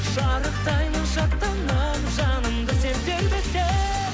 шарықтаймын шаттанамын жанымды сен тербесең